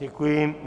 Děkuji.